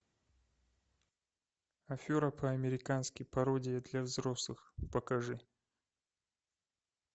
афера по американски пародия для взрослых покажи